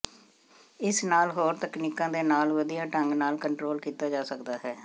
ਇਸ ਨਾਲ ਹੋਰ ਤਕਨੀਕਾਂ ਦੇ ਨਾਲ ਵਧੀਆ ਢੰਗ ਨਾਲ ਕੰਟਰੋਲ ਕੀਤਾ ਜਾ ਸਕਦਾ ਹੈ